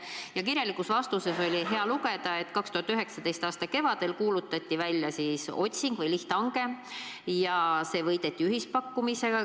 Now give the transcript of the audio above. Ja kirjalikust vastusest oli hea lugeda, et 2019. aasta kevadel kuulutati välja lihthange ja see võideti ühispakkumisega.